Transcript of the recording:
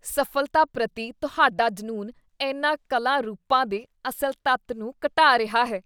ਸਫ਼ਲਤਾ ਪ੍ਰਤੀ ਤੁਹਾਡਾ ਜਨੂੰਨ ਇਨ੍ਹਾਂ ਕਲਾ ਰੂਪਾਂ ਦੇ ਅਸਲ ਤੱਤ ਨੂੰ ਘਟਾ ਰਿਹਾ ਹੈ।